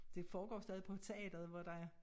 Det foregår stadig på teateret hvor der er